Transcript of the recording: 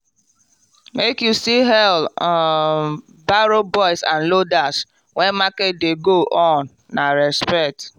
make you still hail um barrow boys and loaders when market dey go on na respect.